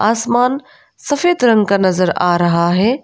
आसमान सफेद रंग का नजर आ रहा है।